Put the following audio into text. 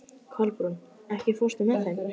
Kolbrún, ekki fórstu með þeim?